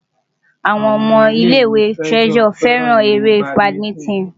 Àwọn ọmọ ilé-ìwé Treasure fẹ́ràn eré badminton.